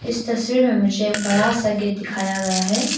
इस तस्वीर में मुझे एक बड़ा सा गेट दिखाया गया है।